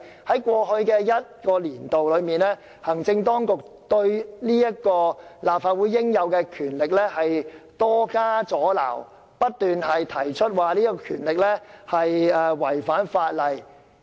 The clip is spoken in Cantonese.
在過去一個年度，行政當局對立法會這種應有的權力多加阻撓，不斷提出此權力違反法例。